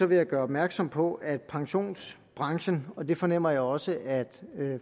vil jeg gøre opmærksom på at pensionsbranchen og det fornemmer jeg også at